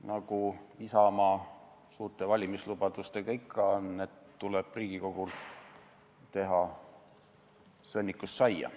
Nagu Isamaa suurte valimislubadustega ikka on, tuleb Riigikogul teha sõnnikust saia.